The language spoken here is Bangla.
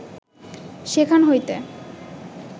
সেখান হইতে